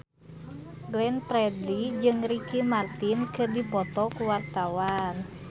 Glenn Fredly jeung Ricky Martin keur dipoto ku wartawan